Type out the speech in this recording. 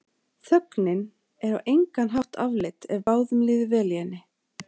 Þögnin er á engan hátt afleit ef báðum líður vel í henni.